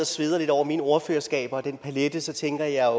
sveder lidt over mine ordførerskaber den palet tænker jeg